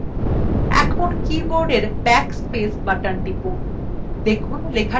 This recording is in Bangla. এখন কীবোর্ডের backspace button টিপুন